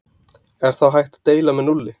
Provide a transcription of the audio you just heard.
Er þá hægt að deila með núlli?